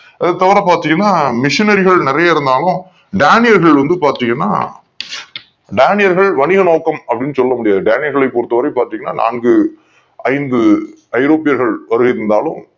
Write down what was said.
இது தவற பார்த்தீங்கன்னா மிஷினியரிகள் நிறைய இருந்தாலும் டேனியர்கள் வந்து பாத்தீங்கன்னா டேனியர்கள் வருகை நோக்கம் அப்படின்னு சொல்ல முடியாது டேனியர்களை பொறுத்த வரைக்கும் பாத்தீங்கன்னா நான்கு ஐந்து ஐரோப்பியர்கள் வருகை தந்தாலும்